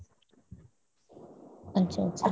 আচ্ছা আচ্ছা।